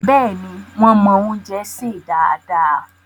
Bẹ́ẹ̀ni, wón mọ́ oúnjẹ sè dáadáa